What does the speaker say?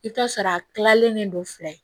I bɛ t'a sɔrɔ a kilalen don fila ye